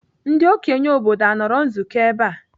Ndị okenye obodo anọrọ nzukọ ebe a?